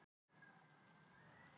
Ég er að meina ákveðinn skugga.